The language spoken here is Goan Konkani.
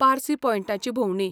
पारसी पॉयंटाची भोंवडी.